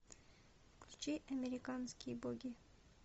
включи американские боги